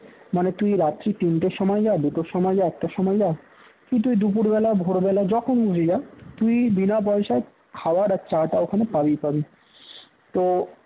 মানে তুই রাত্রি তিনটার সময় যা দুটোর সময় যা একটার সময় যা কি তুই দুপুরবেলা ভোরবেলা যখন খুশি যা তুই বিনা পয়সায় খাবার আর চা টা ওখানে পাবিই পাবি তো